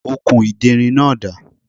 Okùn ìderin náà dà?